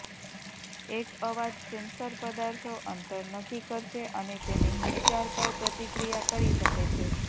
એક અવાજ સેન્સર પદાર્થો અંતર નક્કી કરશે અને તેને હિલચાલ પર પ્રતિક્રિયા કરી શકે છે